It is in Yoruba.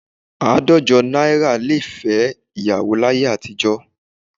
Àádọ́jọ náírà lè fẹ́ ìyàwó láyé àtijọ́